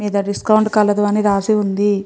మీద డిస్కౌంట్ కలదు అని రాసి ఉంది.